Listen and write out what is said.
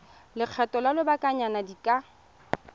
lekgetho la lobakanyana di ka